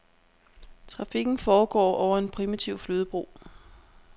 Trafikken foregår over en primitiv flydebro.